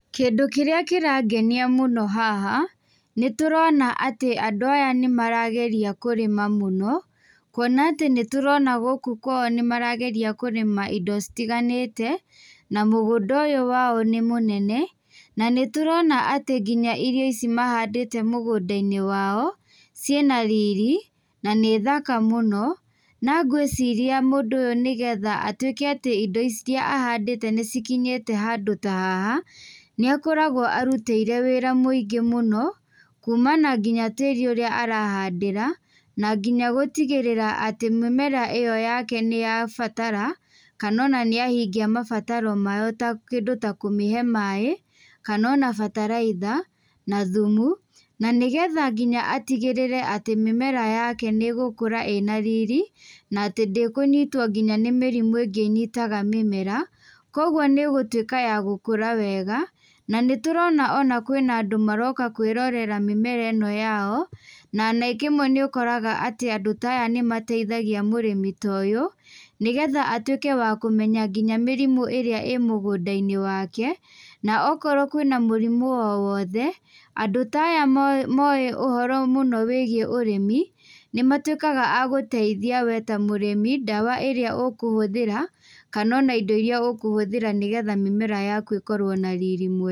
Kĩndũ kĩrĩa kĩrangenia mũno haha, nĩtũrona atĩ andũ aya nĩmarageria kũrĩma mũno, kuona atĩ nĩtũrona gũkũ kwao nĩmarageria kũrĩma indo citiganĩte, na mũgũnda ũyũ wao nĩ mũnene. Na, nĩtũrona atĩ kinya irio ici mahandĩte mũgũnda-inĩ wao, ciĩna riri na nĩ thaka mũno. Na ngwĩciria mũndũ ũyũ nĩgetha atuĩke atĩ indo iria ahandĩte nĩcikinyĩte handũ ta haha, nĩakoragwo arutĩire wĩra mũingĩ mũno, kuma na nginya tĩri ũrĩa arahandĩra, na nginya gũtigĩrĩra atĩ mĩmera ĩyo yake nĩyabatara, kana ona nĩahingia mabataro mayo ta kĩndũ ta kũmĩhe maĩ, kana ona bataraitha na thumu na nĩgetha nginya atigĩrĩre atĩ mĩmera yake nĩĩgũkũra ĩna riri, na atĩ ndĩkũnyitũo kinya nĩ mĩrimũ ingĩ ĩnyitaga mĩmera, kuoguo nĩĩgũtuĩka ya gũkũra wega. Na, nĩtũrona ona kwĩna andũ maroka kwĩrorera mĩmera ĩno yao, na rĩngĩ rĩmwe nĩũkoraga atĩ andũ ata aya nĩmateithagia mũrĩmi ta ũyũ nĩgetha atuĩke wa kũmenya kinya mĩrimũ ĩrĩa ĩ mũngũnda-inĩ wake, na okorwo kwĩna mũrimũ o wothe, andũ ta aya moĩ moĩ ũhoro mũno wĩgiĩ ũrĩmi, nĩmatuĩkaga a gũteithia wee ta mũrĩmi, ndawa ĩrĩa ũkũhũthĩra, kana ona indo iria ũkũhũthira nĩgetha mĩmera yaku ĩkorwo na riri mwega.